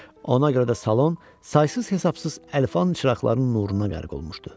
Ona görə də salon saysız-hesabsız əlvan çıraqların nuruna qərq olmuşdu.